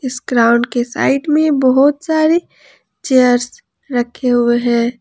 इस ग्राउंड के साइड में बहोत सारे चेयर्स रखे हुए हैं।